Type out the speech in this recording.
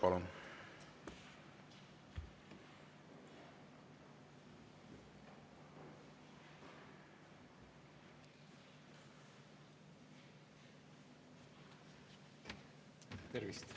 Palun!